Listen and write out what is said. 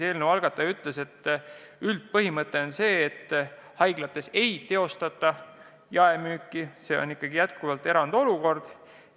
Eelnõu algataja ütles, et üldpõhimõte on see, et haiglates ei teostataks jaemüüki, see oleks ikkagi erandlik olukord.